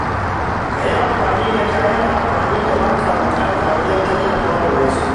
Ka yi amfani da kayan amfani da ba ka buƙata wajen tallafawa wasu.